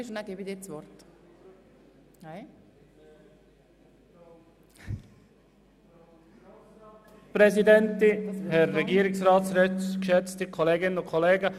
– Ich warte noch, bis es etwas ruhiger ist, dann gebe ich ihm das Wort. –